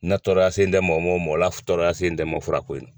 N na tɔɔrɔya sen tɛ mɔgɔ man, mɔgɔla tɔɔrɔya sen tɛ man furako ye.